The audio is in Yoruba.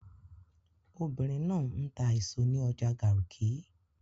Obìnrin náà ń ta èso ní ọjà Garki